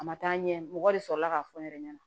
A ma taa ɲɛ mɔgɔ de sɔrɔla k'a fɔ n yɛrɛ ɲɛna